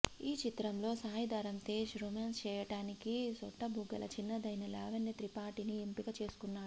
ఈ చిత్రంలో సాయిధరమ్ తేజ్ రొమాన్స్ చేయడానికి సొట్ట బుగ్గల చిన్నదైన లావణ్య త్రిపాఠిని ఎంపిక చేసుకున్నాడు